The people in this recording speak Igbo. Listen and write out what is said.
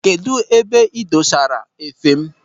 Kedụ ebe ị dosara efe m?